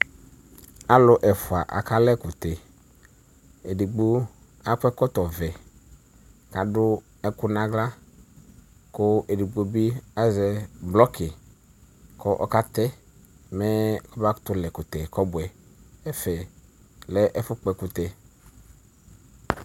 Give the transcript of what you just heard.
Alʋ ɛfʋ aka la ɛkʋtɛ edigbo akɔ ɛkɔtɔvɛ kʋ adʋ ɛkʋ nʋ aɣla kʋ edigbo bi azɛ bloki kʋ ɔkatɛ mɛ kɔba kʋtʋ la ɛkʋtɛ kɔbʋɛ ɛfɛlɛ ɛfʋ kpɔ ɛkʋtɛ